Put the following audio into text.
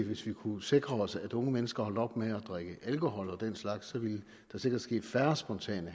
hvis vi kunne sikre os at unge mennesker holdt op med at drikke alkohol og den slags ville der sikkert ske færre spontane